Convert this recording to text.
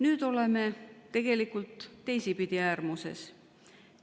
Nüüd oleme tegelikult teisipidi äärmuses.